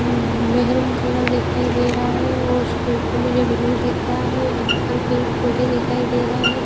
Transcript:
हम्म maroon colour दिखाई दे रहा है और उसके ऊपर मुझे ब्लू दिख रहा है यहां पर पेड़ पौधे दिखाई दे रहे हैं।